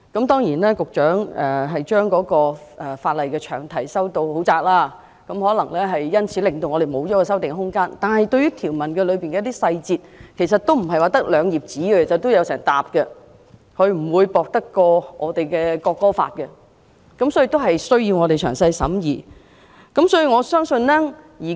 當然，局長將有關的法例詳題修訂得很窄，因此我們可能失去修訂的空間，但有關法例內的條文細節，其實不是只有兩頁紙，而是一整疊紙，不會比《國歌條例草案》薄，所以我們需要詳細審議。